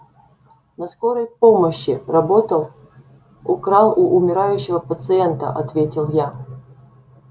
на скорой помощи работал украл у умирающего пациента ответил я